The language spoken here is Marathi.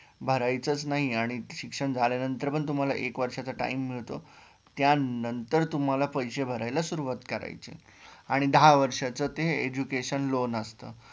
भरायचेचं नाही आणि शिक्षण झाल्यानंतर पण तुम्हाला एक वर्षाचा time मिळतो त्यांनतर तुम्हाला पैसे भरायला सुरुवात करायची आणि दहा वर्षाचा ते education loan असतं